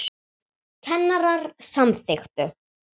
Kennarar samþykktu